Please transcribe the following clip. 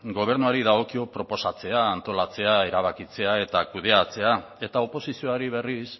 gobernuari dagokio proposatzea antolatzea erabakitzea eta kudeatzea eta oposizioari berriz